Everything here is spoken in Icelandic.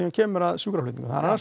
kemur að sjúkraflutningum það